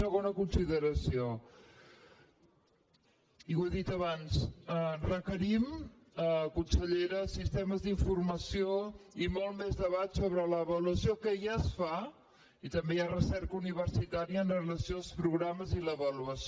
segona consideració i ho he dit abans requerim consellera sistemes d’informació i molt més debat sobre l’avaluació que ja es fa i també hi ha recerca universitària amb relació als programes i l’avaluació